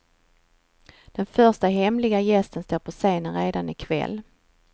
Den första hemliga gästen står på scenen redan i kväll.